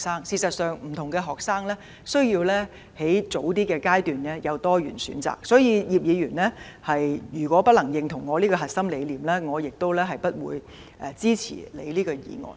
事實上，不同的學生需要在較早階段有多元的選擇，所以如果葉議員不能認同我的核心理念，我亦不會支持他的修正案。